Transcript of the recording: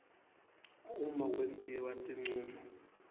uma kwentiwa tincumo